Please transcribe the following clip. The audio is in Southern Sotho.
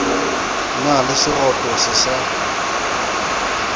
na le seroto se sa